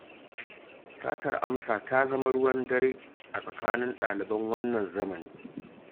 Satar amsa ta zama ruwan dare a tsakanin ɗaliban wannan zamanin